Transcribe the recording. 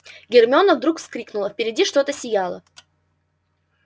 гермиона вдруг вскрикнула впереди что-то сияло